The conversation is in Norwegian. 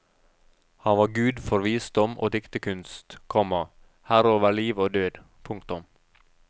Han var gud for visdom og diktekunst, komma herre over liv og død. punktum